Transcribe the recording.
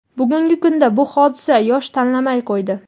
bugungi kunda bu hodisa yosh tanlamay qo‘ydi.